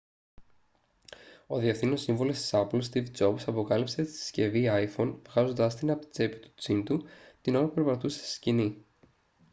ο διευθύνων σύμβουλος της apple στιβ τζομπς αποκάλυψε τη συσκευή iphone βγάζοντάς τη από την τσέπη του τζιν του την ώρα που περπατούσε στη σκηνή